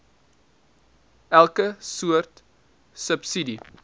elke soort subsidie